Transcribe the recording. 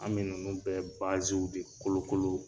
An be ninnu bɛ baasiw de kolokolo